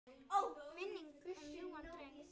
Minning um ljúfan dreng lifir.